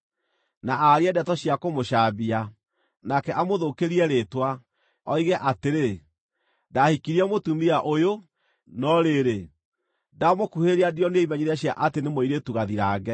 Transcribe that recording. na aarie ndeto cia kũmũcambia, nake amũthũkĩrie rĩĩtwa, oige atĩrĩ, “Ndahikirie mũtumia ũyũ, no rĩrĩ, ndamũkuhĩrĩria ndionire imenyithia cia atĩ nĩ mũirĩtu gathirange,”